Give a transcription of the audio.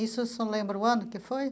Isso o senhor lembra o ano que foi?